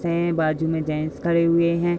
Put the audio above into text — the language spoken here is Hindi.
से बाजू में जेनट्स खड़े हुए हैं।